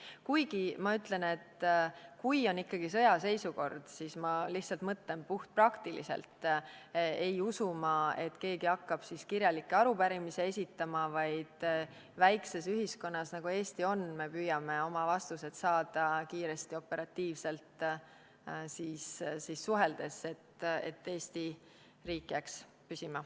Kuigi, kui on ikkagi sõjaseisukord , siis ma ei usu, et keegi hakkaks kirjalikke arupärimisi esitama, vaid väikeses ühiskonnas, nagu Eesti on, me püüame siis vastused saada kiiresti, operatiivselt suheldes, et Eesti riik jääks püsima.